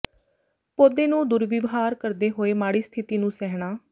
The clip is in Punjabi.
ਪੌਦੇ ਨੂੰ ਦੁਰਵਿਵਹਾਰ ਕਰਦੇ ਹੋਏ ਮਾੜੀ ਸਥਿਤੀ ਨੂੰ ਸਹਿਣਾ